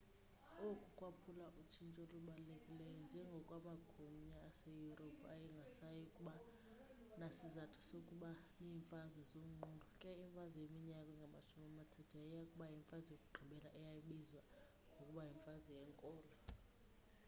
oku kwaphawula utshintsho olubalulekileyo njengoko amagunya aseyurophu ayengasayi kuba nasizathu sokuba neemfazwe zonqulo ke imfazwe yeminyaka engamashumi amathathu yayiya kuba yimfazwe yokugqibela eya kubizwa ngokuba yimfazwe yeenkolo